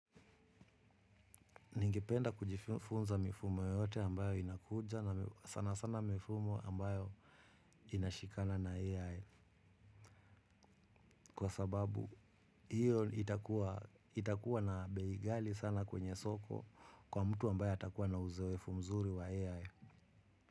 Ningependa kujifunza mifumo yote ambayo inakuja na sana sana mifumo ambayo inashikana na AI. Kwa sababu hiyo itakua na bei ghali sana kwenye soko kwa mtu ambaye atakuwa na uzoefu mzuri wa AI.